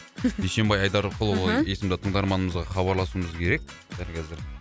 дүйсенбай айдарқұлұлы мхм есімді тыңдарманымызға хабарласуымызы керек дәл қазір